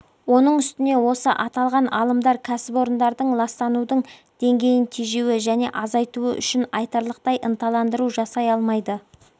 оның үстіне осы аталған алымдар кәсіпорындардың ластанудың деңгейін тежеуі және азайтуы үшін айтарлықтай ынталандыру жасай алмайды